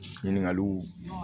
Ɲininkaliw